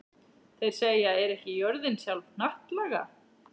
Þeir segja: Er ekki jörðin sjálf hnattlaga?